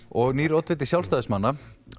og nýr oddviti Sjálfstæðismanna